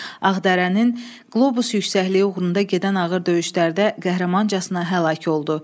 Ağdərənin Qlobus yüksəkliyi uğrunda gedən ağır döyüşlərdə qəhrəmancasına həlak oldu.